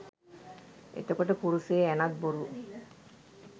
එතකොට කුරුසේ ඇණත් බොරු